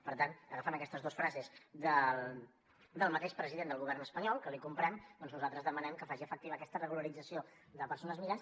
per tant agafant aquestes dos frases del mateix president del govern espanyol que li comprem doncs nosaltres demanem que faci efectiva aquesta regularització de persones migrants